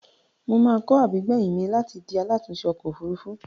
Mo máa kọ́ àbígbèyìn mi láti di alátùúnṣẹ ọkọ̀-òfurufú.